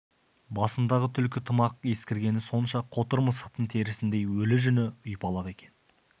басындағы түлкі тымақ ескіргені сонша қотыр мысықтың терісіндей өлі жүні ұйпалақ екен